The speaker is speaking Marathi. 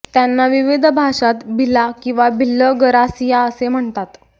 त्यांना विविध भाषांत भिला किंवा भिल्ल गरासिया असे म्हणतात